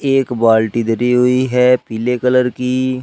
एक बाल्टी धरी हुई है पीले कलर की।